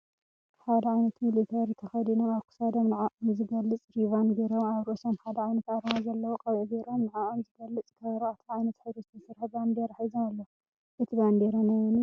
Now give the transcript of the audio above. ሓደ ዓይነት ሚሊታሪ ተኸዲኖም ኣብ ክሳዶም ንዐኦም ዝገልፅ ሪቫን ገይሮም ኣብ ርእሶም ሓደ ዓይነት ኣርማ ዘለዎ ቆቢዕ ገይሮም ንዐኦም ዝገልፅ ካብ ኣርባዕተ ዓይነት ሕብሪ ዝተሰርሐ ባንዴራ ሒዞም ኣለዉ፡፡ እቲ ባንዴራ ናይ መን እዩ?